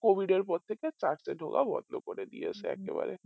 covid এর পর থেকে church এ ঢোকা বন্ধ করে দিয়েছে একেবারে